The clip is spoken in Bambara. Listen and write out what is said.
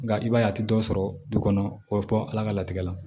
Nka i b'a ye a tɛ dɔ sɔrɔ du kɔnɔ o bɛ bɔ ala ka latigɛ la